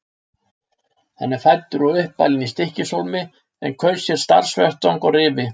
Hann er fæddur og uppalinn í Stykkishólmi en kaus sér starfsvettvang á Rifi.